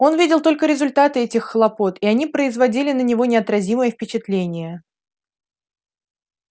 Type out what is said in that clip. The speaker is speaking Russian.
он видел только результаты этих хлопот и они производили на него неотразимое впечатление